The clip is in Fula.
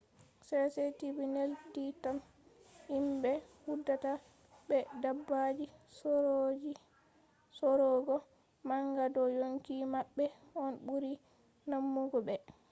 cctv neldinan himɓe hudata be dabbaji saurugo manga do yonki maɓɓe on ɓuri damugo ɓe